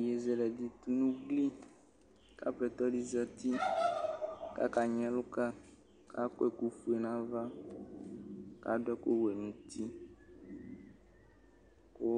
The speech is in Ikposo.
yeye zɛlɛ di tunu ugki ku Aƒetɔ di zati ku akanyi ɛlu ka ku akɔ ɛkufoe nu ava , ku adu ɛkuwɛ nu ʋti, ku